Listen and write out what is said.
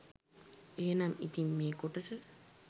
එහෙනම් ඉතින් මේ කොටස